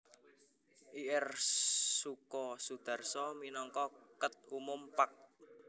Ir Soeko Soedarso minangka Ket Umum Pag